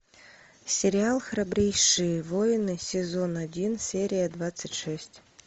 сериал храбрейшие войны сезон один серия двадцать шесть